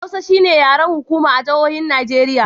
Hausa shi ne yaren hukuma a jihohin arewacin Nijeriya.